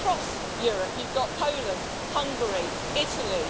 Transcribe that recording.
Across Europe, you've got Poland, Hungary, Italy